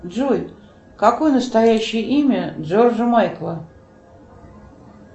джой какое настоящее имя джорджа майкла